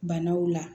Banaw la